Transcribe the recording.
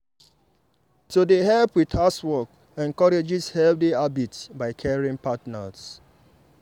to dey help with housework encourages healthy habits by caring partners.